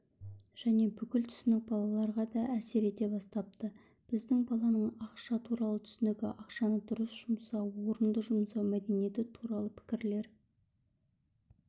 және бұл түсінік балаларға да әсер ете бастапты бізде баланың ақша туралы түсінігі ақшаны дұрыс жұмсау орынды жұмсау мәдениеті туралы пікірлер